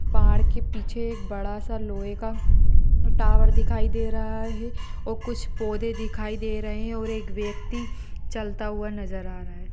पहाड़ के पीछे एक बड़ा सा लोहे का टावर दिखाई दे रहा है और कुछ पौधे दिखाई दे रहे हैं और एक व्यक्ति चलता हुआ नजर आ रहा है।